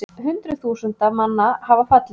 Hundruð þúsunda manna hafa fallið